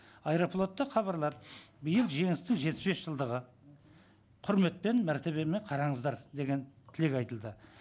аэрофлотта хабарлады биыл жеңістің жетпіс бес жылдығы құрметпен мәртебемен қараңыздар деген тілек айтылды